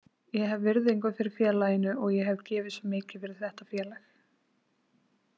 Ég hef virðingu fyrir félaginu og ég hef gefið svo mikið fyrir þetta félag.